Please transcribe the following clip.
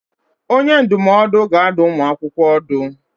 Onye ndụmọdụ ga-adụ ụmụ akwụkwọ ọdụ.